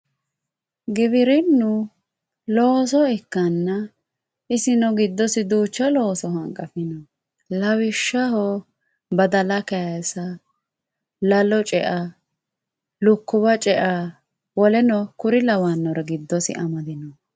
Giwirinu looso ikkanna isino giddosi duucha looso hanqafino lawishshaho badala kaysa, lalo cea, lukkuwa cea, woleno kore lawanore giddosi amadino.